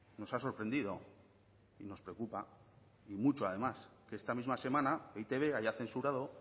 nos ha sorprendido y nos preocupa y mucho además que esta misma semana e i te be haya censurado